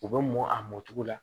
U bɛ mɔn a mɔn cogo la